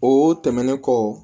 O tɛmɛnen kɔ